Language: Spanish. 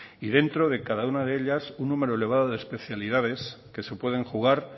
y dentro de cada una de ellas un número elevado de especialidades que se pueden jugar